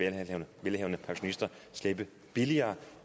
velhavende pensionister slippe billigere